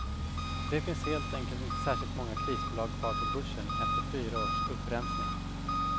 Det finns helt enkelt inte särskilt många krisbolag kvar på börsen efter fyra års upprensning.